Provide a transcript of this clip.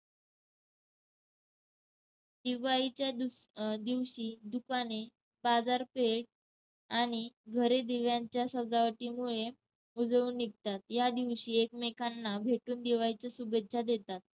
दिवाळीच्या दुस~ अह दिवशी दुकाने, बाजारपेठ आणि घरे दिव्यांच्या सजावटीमुळे उजळून निघतात. या दिवशी एकमेकांना भेटून दिवाळीच्या शुभेच्छा देतात.